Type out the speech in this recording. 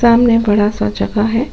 सामने बड़ा सा जगह है।